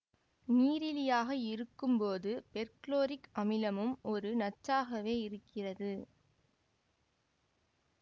நீரிலியாக இருக்கும் போது பெர்குளோரிக் அமிலமும் ஒரு நச்சாகவே இருக்கிறது